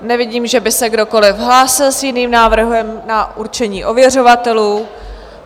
Nevidím, že by se kdokoliv hlásil s jiným návrhem na určení ověřovatelů.